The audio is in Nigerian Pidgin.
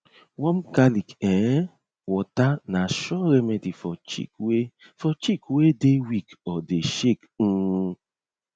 warm garlic um water na sure remedy for chick wey for chick wey dey weak or dey shake um